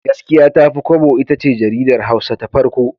Gaskiya Tafi Kwabo itace jaridar Hausa ta farko.